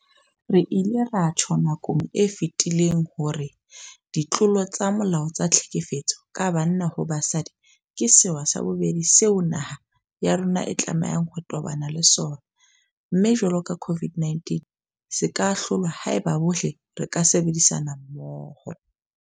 Re ile ra tjho nakong e fetileng hore ditlolo tsa molao tsa tlhekefetso ka banna ho basadi ke sewa sa bobedi seo naha ya rona e tlamehang ho tobana le sona, mme jwalo ka COVID-19 se ka hlolwa haeba bohle re ka sebedisana mmoho.